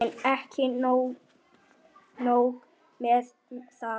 En ekki nóg með það.